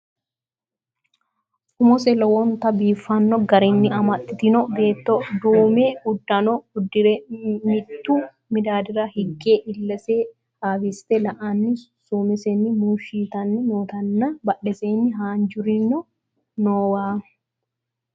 Umose lowonta biifanno garinni amaxxitino beetto duume uddano uddi're miittu midaadira higge illese haawiissite la'anni suumesenni muushshi yitanni nootinna badheeseenni haanjirinori noowa.